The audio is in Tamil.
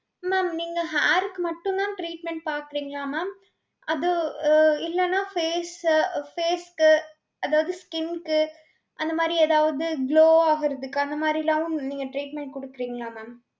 mam நீங்க hair க்கு மட்டும் தான் treatment பாக்கறீங்களா mam அது ஆஹ் இல்லனா face அ face க்கு அதாவது skin க்கு அந்த மாதிரி ஏதாவது glow ஆகுறதுக்கு அந்த மாறிலாவும் நீங்க treatment குடுக்கிறீங்களா mam.